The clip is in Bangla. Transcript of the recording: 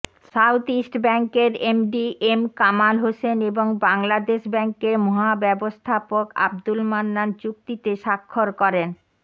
সাউথইস্ট ব্যাংকের এমডি এম কামাল হোসেন এবং বাংলাদেশ ব্যাংকের মহাব্যবস্থাপক আব্দুল মান্নান চুক্তিতে স্বাক্ষর করেন